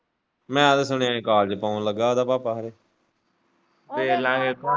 ਮੈਂ ਤਾਂ ਸੁਣਿਆਂ ਕਾਜ ਪਾਣ ਲੱਗਾ ਉਹਦਾ ਭਾਪਾ ਵੇਖਲਾਂਗੇ।